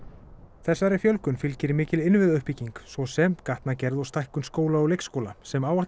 þessari fjölgun fylgir mikil innviðauppbygging svo sem gatnagerð og stækkun skóla og leikskóla sem áætlað